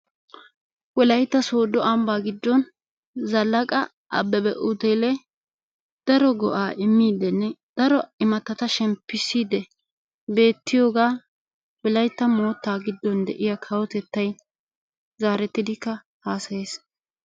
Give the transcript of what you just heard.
Wolaytta soodo ambbaa giiddon zalaqa abeebe utelee daro go"aa immidinne daro imattata shemppiside beettiyoogaa wolaytta moottaa giddon de'iyaa kawotettay zarettidikka hasayiis.